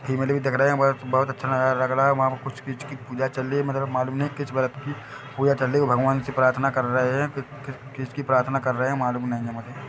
female भी दिख रहे हैं बोहत बोहत अच्छा नज़ारा लग रहा हैं वहाँ पर कुछ चीज की पूजा चल रही हैं मतलब मालूम नहीं किस व्रत की पूजा चल रही हैं भगवान से प्रार्थना कर रहे हैं की की किस की प्रार्थना कर रहे हैं मालूम नहीं हैं मुझे--